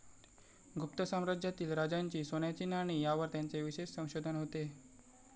गुप्त साम्राज्यातील राजांची सोन्याची नाणी यावर त्यांचे विशेष संशोधन होते.